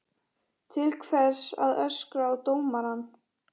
Til hvers að öskra á dómarann?